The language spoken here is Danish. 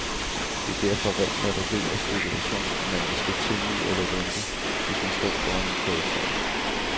Det er derfor rent lotteri og spekulation, om man vil slå til nu eller vente, hvis man står foran en prioritering.